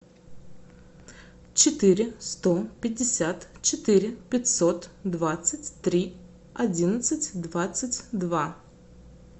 четыре сто пятьдесят четыре пятьсот двадцать три одиннадцать двадцать два